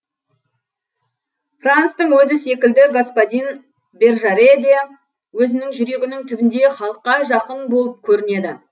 франстың өзі секілді господин бержаре де өзінің жүрегінің түбінде халыққа жақын болып көрінеді